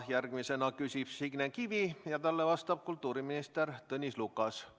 Järgmisena küsib Signe Kivi ja talle vastab kultuuriminister Tõnis Lukas.